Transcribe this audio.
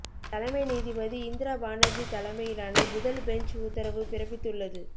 தலைமை நீதிபதி இந்திரா பானர்ஜி தலைமையிலான முதல் பெஞ்ச் உத்தரவு பிறப்பித்து உள்ளது